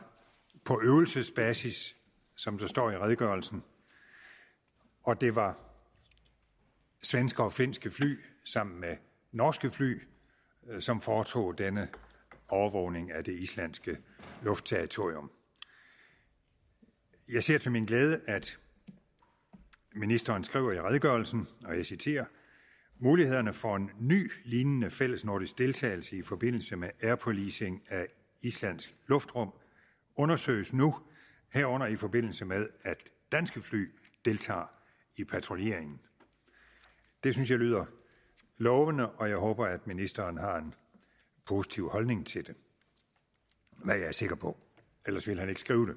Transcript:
på øvelsesbasis som der står i redegørelsen og det var svenske og finske fly sammen med norske fly som foretog denne overvågning af det islandske luftterritorium jeg ser til min glæde at ministeren skriver i redegørelsen og jeg citerer mulighederne for en ny lignende fælles nordisk deltagelse i forbindelse med ’air policing’ af islands luftrum undersøges nu herunder i forbindelse med at danske fly deltager i patruljeringen det synes jeg lyder lovende og jeg håber at ministeren har en positiv holdning til det hvad jeg er sikker på ellers ville han ikke skrive